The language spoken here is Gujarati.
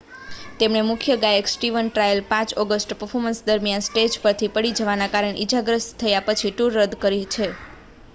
તેમણે મુખ્ય ગાયક સ્ટીવન ટાયલર 5 ઑગસ્ટે પર્ફોર્મન્સ દરમિયાન સ્ટેજ પરથી પડી જવાને કારણે ઈજાગ્રસ્ત થયા પછી ટૂર રદ કરી છે